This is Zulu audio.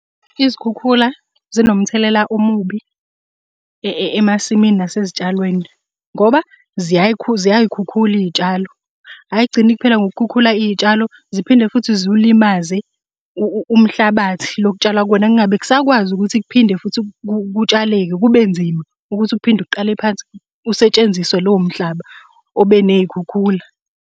Izikhukhula zinomthelela omubi emasimini nasezitshalweni, ngoba ziyay'khukhula iy'tshalo. Ay'gcini kuphela ngokukhukhula iy'tshalo, ziphinde futhi zulimaze umhlabathi lo okutshalwa kuwona kungabe kusakwazi ukuthi kuphinde futhi kutshaleke kube nzima ukuthi uphinde uqale phansi usetshenziswe lowo mhlaba obe ney'khukhula.